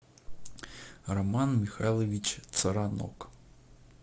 роман михайлович царанок